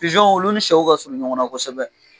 Pijon olu ni sɛw ka surun ɲɔgɔn na kosɛbɛ!